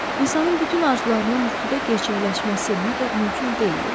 İnsanın bütün arzularının yuxuda gerçəkləşməsi məgər mümkün deyil?